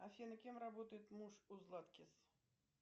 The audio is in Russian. афина кем работает муж у златкис